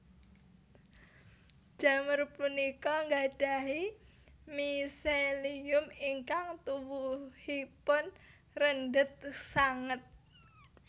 Jamur punika nggadhahi miselium ingkang tuwuhipun rendhet sanget